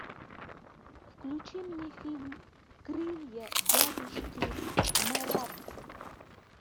включи мне фильм крылья дядюшки марабу